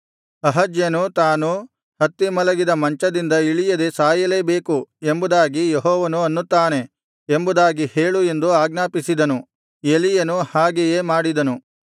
ಅಹಜ್ಯನು ತಾನು ಹತ್ತಿ ಮಲಗಿದ ಮಂಚದಿಂದ ಇಳಿಯದೆ ಸಾಯಲೇ ಬೇಕು ಎಂಬುದಾಗಿ ಯೆಹೋವನು ಅನ್ನುತ್ತಾನೆ ಎಂಬುದಾಗಿ ಹೇಳು ಎಂದು ಆಜ್ಞಾಪಿಸಿದನು ಎಲೀಯನು ಹಾಗೆಯೇ ಮಾಡಿದನು